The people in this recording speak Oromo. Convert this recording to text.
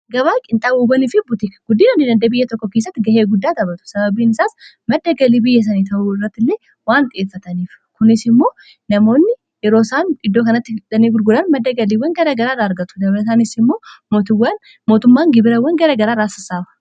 Gabaa qinxabubanii f guddiin handii dandee biyya tokko keessatti ga'ee guddaa taphatu sababiin isaas madda galii biyya sanii ta'uu irratilee waan xiyefaataniif kunis immoo namoonni yeroosaan iddoo kanattinii gurguran maddagaliiwwan gara garaarra argatu dabirasaanis immo mootummaan gibirawwan garagaraa raasasaawa.